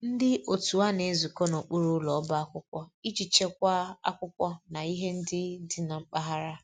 Ndị otu a na-ezukọ n'okpuru ụlọ ọba akwụkwọ iji chekwaa akwụkwọ na ihe ndị dị na mpaghara